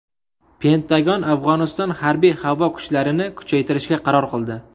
Pentagon Afg‘oniston harbiy-havo kuchlarini kuchaytirishga qaror qildi.